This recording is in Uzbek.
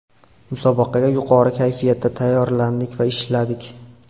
Musobaqaga yuqori kayfiyatda tayyorlandik va ishladik.